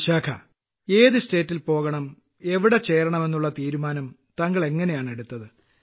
വിശാഖാ ഏതു സംസ്ഥാനത്തു് പോകണം എവിടെ ചേരണം എന്നുള്ള തീരുമാനം താങ്കൾ എങ്ങിനെയാണ് എടുത്തത്